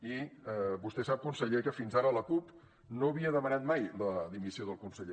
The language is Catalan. i vostè sap conseller que fins ara la cup no havia demanat mai la dimissió del conseller